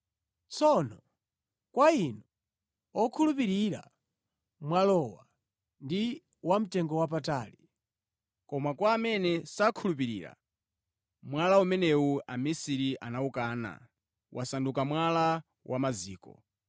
Tsono kwa inu okhulupirira, mwalawo ndi wamtengowapatali. Koma kwa amene sakhulupirira, “Mwala umene amisiri anawukana wasanduka mwala wa maziko,